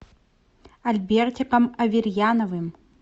альбертиком аверьяновым